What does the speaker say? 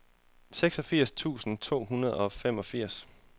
seksogfirs tusind to hundrede og femogfirs